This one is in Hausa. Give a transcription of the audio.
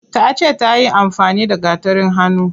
Tace tayi amfani da gatarin hannu.